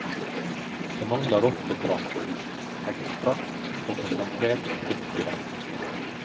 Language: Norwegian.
Det mangler ofte kraft, ekstrakt og konsentrert frukt i dem.